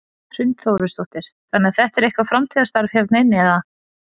Hrund Þórsdóttir: Þannig að þetta er ykkar framtíðarstarf hérna inni eða?